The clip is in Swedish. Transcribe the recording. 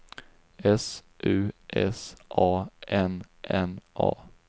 S U S A N N A